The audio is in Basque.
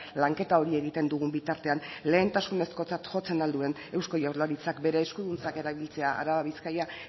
lanketa hori egiten dugun bitartean lehentasunezkotzat jotzen al duen eusko jaurlaritzak bere eskuduntzak erabiltzea araba bizkaia